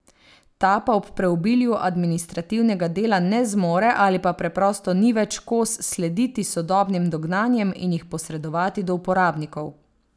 Ta pa ob preobilju administrativnega dela ne zmore ali pa preprosto ni več kos slediti sodobnim dognanjem in jih posredovati do uporabnikov.